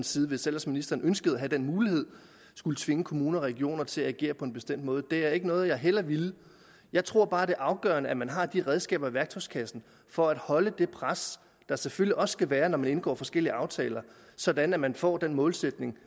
side hvis ellers ministeren ønskede at have den mulighed skulle tvinge kommuner og regioner til at agere på en bestemt måde der er ikke noget jeg hellere ville jeg tror bare det er afgørende at man har de redskaber i værktøjskassen for at holde det pres der selvfølgelig også skal være når man indgår forskellige aftaler sådan at man får en målsætning